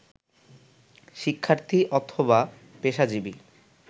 শিক্ষার্থী অথবা পেশাজীবী